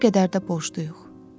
Nə qədər də borcluyuq.